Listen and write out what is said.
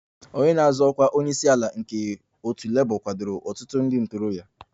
Onye na-azọ ọkwa onye isi ala nke otu Labour kwadoro ọtụtụ ndị ntorobịa